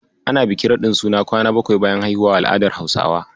Ana bikin raɗin suna kwana bakwai bayan haihuwa a al'adar Hausawa.